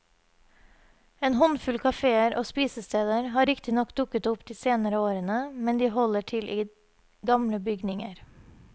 En håndfull kaféer og spisesteder har riktignok dukket opp de senere årene, men de holder til i gamle bygninger.